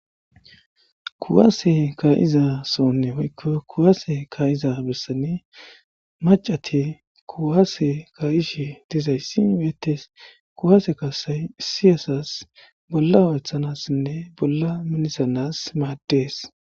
Kuwasse kaizza sohon woykko kuwasse kaizza b bessan maccati kuwasse kaiishshe dizayssi bettes kuwasse kassay issi assas bolla hoeththanasinne bolla minissans maades.